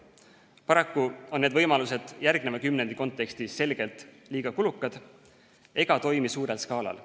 Paraku on need võimalused järgneva kümnendi kontekstis selgelt liiga kulukad ega toimi suurel skaalal.